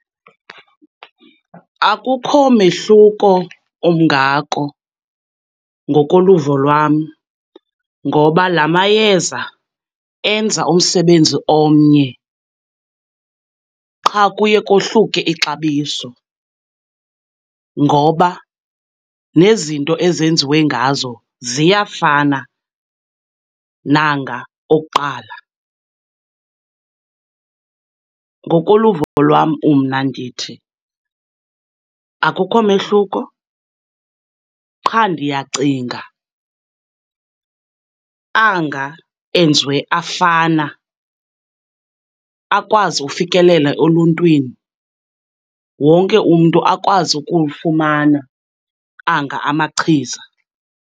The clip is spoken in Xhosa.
Akukho mehluko ungako ngokoluvo lwam, ngoba la mayeza enza umsebenzi omnye, qha kuye kohluke ixabiso ngoba nezinto ezenziwe ngazo ziyafana nanga okuqala. Ngokoluvo lwam mna ndithi akukho mehluko, qha ndiyacinga anga enziwe afana akwazi ufikelela oluntwini, wonke umntu akwazi ukulufumana, anga amachiza.